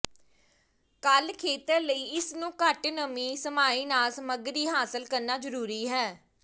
ਕੱਲ ਖੇਤਰ ਲਈ ਇਸ ਨੂੰ ਘੱਟ ਨਮੀ ਸਮਾਈ ਨਾਲ ਸਮੱਗਰੀ ਹਾਸਲ ਕਰਨ ਲਈ ਜ਼ਰੂਰੀ ਹੈ